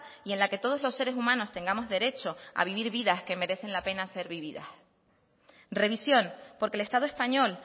y en la que todos los seres humanos tengamos derecho a vivir vidas que merecen la pena de ser vividas revisión porque el estado español